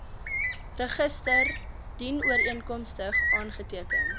register dienooreenkomstig aangeteken